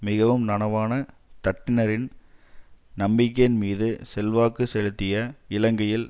மிகவும் நனவான தட்டினரின் நம்பிக்கையின் மீது செல்வாக்கு செலுத்திய இலங்கையில்